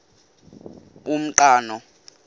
umqhano